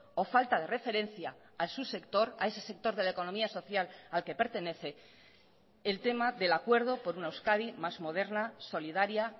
o falta de referencia a su sector a ese sector de la economía social al que pertenece el tema del acuerdo por una euskadi más moderna solidaria